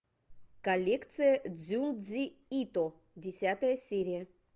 коллекция дзюндзи ито десятая серия